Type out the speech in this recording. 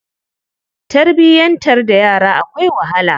Tarbiyantar da yara akwai wahala.